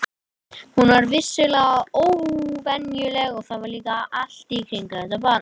Hún var vissulega óvenjuleg, en það var líka allt í kringum þetta barn.